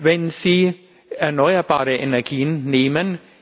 Wenn Sie erneuerbare Energien nehmen